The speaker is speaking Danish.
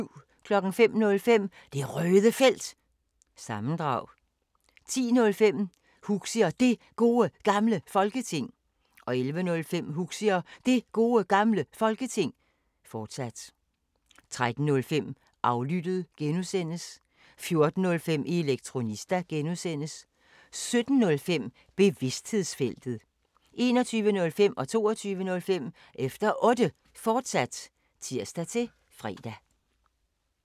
05:05: Det Røde Felt – sammendrag 10:05: Huxi og Det Gode Gamle Folketing 11:05: Huxi og Det Gode Gamle Folketing, fortsat 13:05: Aflyttet (G) 14:05: Elektronista (G) 17:05: Bevidsthedsfeltet 21:05: Efter Otte, fortsat (tir-fre) 22:05: Efter Otte, fortsat (tir-fre)